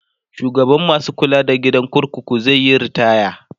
shugaban masu kula da gidan kurkuku zaiyi ritaya